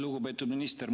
Lugupeetud minister!